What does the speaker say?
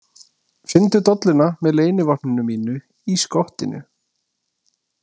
Finndu dolluna með leynivopninu mínu í skottinu